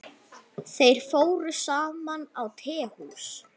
Þeir fóru saman á tehús.